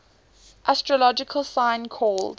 astrological sign called